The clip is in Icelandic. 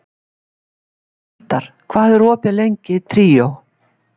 Hildar, hvað er opið lengi í Tríó?